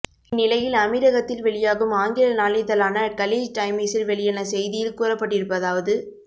இந்நிலையில் அமீரகத்தில் வெளியாகும் ஆங்கில நாளிதழான கலீஜ் டைமிஸில் வெளியான செய்தியில் கூறப்பட்டிருப்பதாவது